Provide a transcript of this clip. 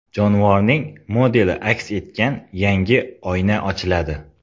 Jonivorning modeli aks etgan yangi oyna ochiladi.